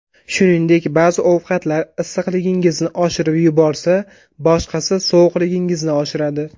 Shuningdek, ba’zi ovqatlar issiqligingizni oshirib yuborsa, boshqasi sovuqligingizni oshiradi.